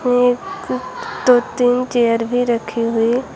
एक दो तीन चेयर भी रखी हुई--